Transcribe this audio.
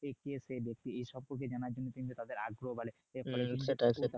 এই সম্পর্কে কিন্তু তাদের আগ্রহ বাড়ে